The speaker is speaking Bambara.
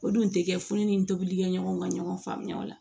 O dun tɛ kɛ furu ni tobilikɛɲɔgɔnw ka ɲɔgɔn faamuya o la